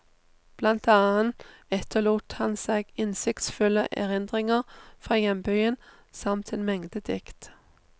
Blant annet etterlot han seg innsiktsfulle erindringer fra hjembyen, samt en mengde dikt.